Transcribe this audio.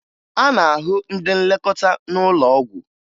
A na-ahụ ndị nlekọta n'ụlọ ọgwụ